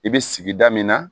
I bɛ sigida min na